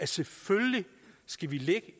selvfølgelig skal ligge